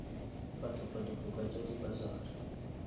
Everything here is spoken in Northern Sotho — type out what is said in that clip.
bathopa difoka tša di bursary